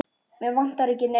Mig vantar ekki neitt.